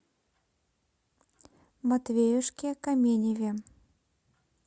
матвеюшке каменеве